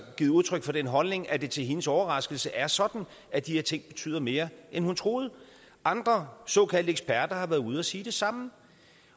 givet udtryk for den holdning at det til hendes overraskelse er sådan at de her ting betyder mere end hun troede andre såkaldte eksperter har været ude at sige det samme